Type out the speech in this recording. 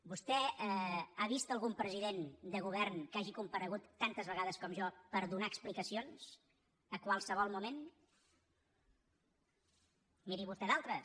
vostè ha vist algun president de govern que hagi comparegut tantes vegades com jo per donar explicacions a qualsevol moment miri vostè d’altres